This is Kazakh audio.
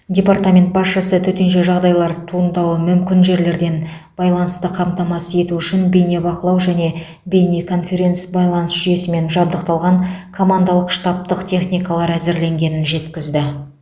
департамент басшысы төтенше жағдайлар туындауы мүмкін жерлерден байланысты қамтамасыз ету үшін бейнебақылау және бейнеконференц байланыс жүйесімен жабдықталған командалық штабтық техникалары әзірленгенін жеткізді